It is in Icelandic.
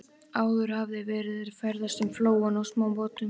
Áður hafði verið ferðast um flóann á smábátum.